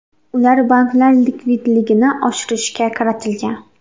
Ular banklar likvidligini oshirishga qaratilgan.